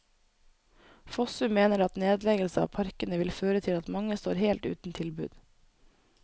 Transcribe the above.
Fossum mener at nedleggelse av parkene vil føre til at mange står helt uten tilbud.